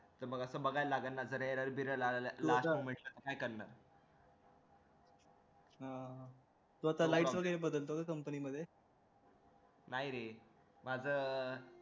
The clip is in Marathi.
तर बघा बघायला लागलं कुठं error बिरर आलेला तर काय करणार तो आता light बदलतो company मध्ये नाही रे माझं